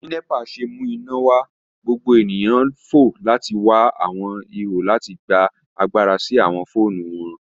Bi NEPA ṣe mu imọlẹ wa, gbogbo eniyan fo lati wa awọn iho lati gba agbara si awọn foonu wọn.